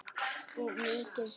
Of mikið stress?